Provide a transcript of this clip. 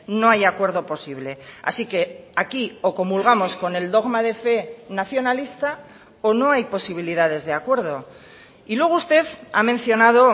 no hay acuerdo posible así que aquí o comulgamos con el dogma de fe nacionalista o no hay posibilidades de acuerdo y luego usted ha mencionado